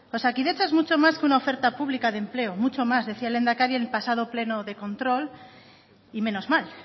osakidetza es mucho más que una oferta pública de empleo mucho más decía el lehendakari el pasado pleno de control y menos mal